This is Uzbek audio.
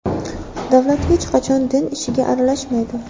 Davlat hech qachon din ishiga aralashmaydi.